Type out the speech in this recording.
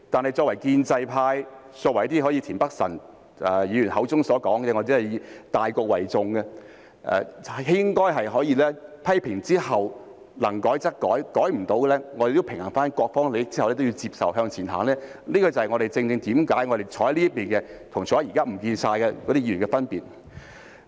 然而，作為建制派，好像田北辰議員口中所說以大局為重的，應該在批評之後，能改則改，改不到的，在平衡各方利益之後也要接受和向前走，這正正是我們坐在這邊的議員與現時全都不見了的議員的分別。